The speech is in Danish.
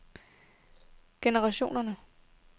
generationer